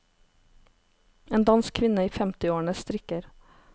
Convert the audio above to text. En dansk kvinne i femtiårene strikker.